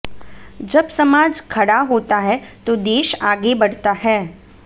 जब समाज खड़ा होता है तो देश आगे बढ़ता है